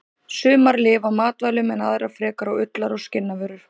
Sumar lifa á matvælum en aðrar frekar á ullar- og skinnavöru.